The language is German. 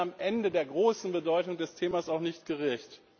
Sie werden am Ende der großen Bedeutung des Themas auch nicht gerecht.